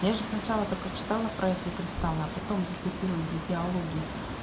я же сначала это прочитала про эти кристаллы а потом зацепилась за диалоги